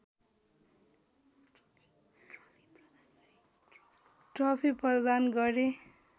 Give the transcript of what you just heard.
trophy प्रदान गरे